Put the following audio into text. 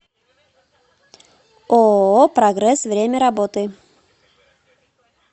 ооо прогресс время работы